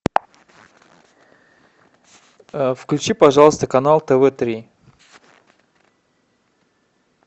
включи пожалуйста канал тв три